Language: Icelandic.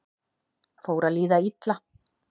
Fór að líða illa